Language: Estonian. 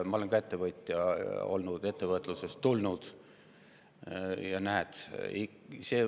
Ma olen ka ettevõtja olnud, ettevõtlusest tulnud.